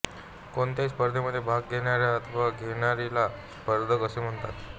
कोणत्याही स्पर्धेमध्ये भाग घेणाऱ्या अथवा घेणारीला स्पर्धक असे म्हणतात